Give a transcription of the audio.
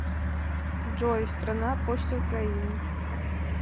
джой страна почта украины